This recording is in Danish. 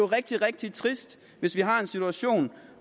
rigtig rigtig trist hvis vi har en situation